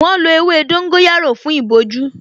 Wọ́n lọ ewé dóngóyárò fún ìbojú